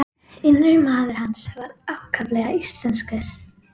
Innri maður hans var ákaflega íslenskur.